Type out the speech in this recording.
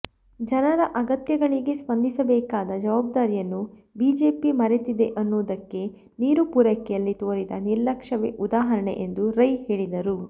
ಜನರ ಅಗತ್ಯಗಳಿಗೆ ಸ್ಪಂದಿಸಬೇಕಾದ ಜವಾಬ್ದಾರಿಯನ್ನು ಬಿಜೆಪಿ ಮರೆತಿದೆ ಅನ್ನುವುದಕ್ಕೆ ನೀರು ಪೂರೈಕೆಯಲ್ಲಿ ತೋರಿದ ನಿರ್ಲಕ್ಷ್ಯವೇ ಉದಾಹರಣೆ ಎಂದು ರೈ ಹೇಳಿದರು